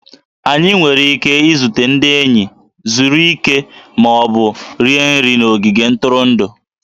Anyị nwere ike izute ndị enyi, zuru ike, ma ọ bụ rie nri n'ogige ntụrụndụ